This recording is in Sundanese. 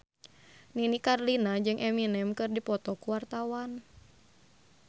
Nini Carlina jeung Eminem keur dipoto ku wartawan